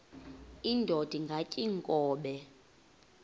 indod ingaty iinkobe